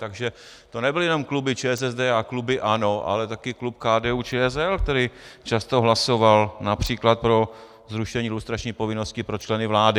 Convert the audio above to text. Takže to nebyly jenom kluby ČSSD a klub ANO, ale taky klub KDU-ČSL, který často hlasoval například pro zrušení lustrační povinnosti pro členy vlády.